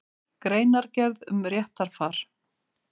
Greinargerð um réttarfar.